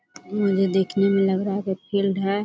मुझे देखने में लग रहा है की फिल्ड है।